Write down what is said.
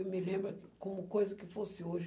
Eu me lembro como coisa que fosse hoje.